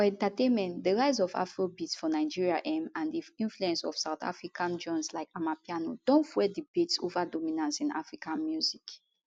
for entertainment di rise of afrobeats for nigeria um and di influence of south african genres like amapiano don fuel debates ova dominance in african music